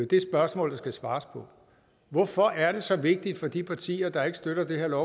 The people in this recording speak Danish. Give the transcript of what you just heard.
det spørgsmål der skal svares på hvorfor er det så vigtigt for de partier der ikke støtter det her